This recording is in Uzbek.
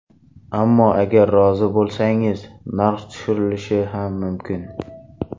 Ammo agar rozi bo‘lsangiz, narx tushirilishi ham mumkin”.